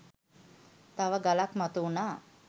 තව ගලක් මතු වුනා.